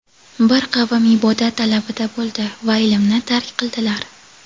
Bir qavm ibodat talabida bo‘ldi va ilmni tark qildilar.